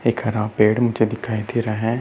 एक खराब पेड़ मुझे दिखाई दे रहा है।